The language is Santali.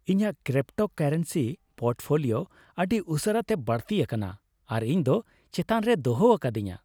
ᱤᱧᱟᱹᱜ ᱠᱨᱤᱯᱴᱳᱠᱟᱨᱮᱱᱥᱤ ᱯᱳᱨᱴᱯᱷᱳᱞᱤᱭᱳ ᱟᱹᱰᱤ ᱩᱥᱟᱹᱨᱟᱛᱮ ᱵᱟᱹᱲᱛᱤ ᱟᱠᱟᱱᱟ, ᱟᱨ ᱤᱧᱫᱚ ᱪᱮᱛᱟᱱ ᱨᱮᱭ ᱫᱚᱦᱚ ᱟᱠᱟᱫᱤᱧᱟᱹ ᱾